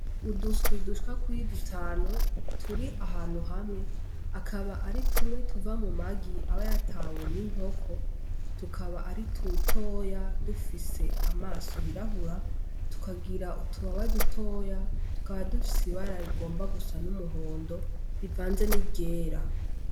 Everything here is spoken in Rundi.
Uduswi dushwa kuri dutanu turi ahantu hamwe akaba ari tumwe tuva mu magi aba yatawe n'inkoko tukaba ari tutoya dufise amaso yirahura tukagira utubaba dutoya tukaba dufise ibara rigomba gusa n'umuhondo rivanze n'igera.